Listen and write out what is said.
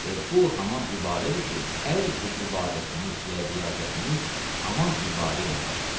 Və bu haman ibarədir ki, hər cür ibadətimiz və riyazətimiz haman ibarə ilə başlanır.